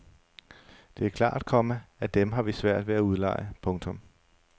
Det er klart, komma at dem har vi svært ved at udleje. punktum